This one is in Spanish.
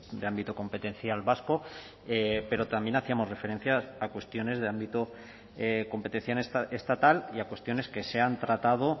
de ámbito competencial vasco pero también hacíamos referencia a cuestiones de ámbito competencial estatal y a cuestiones que se han tratado